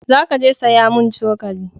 Za ka je saya mun cokali